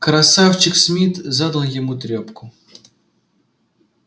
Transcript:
красавчик смит задал ему трёпку